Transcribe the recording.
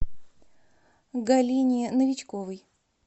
галине новичковой